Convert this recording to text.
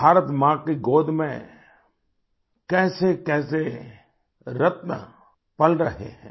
भारत माँ की गोद में कैसेकैसे रत्न पल रहे हैं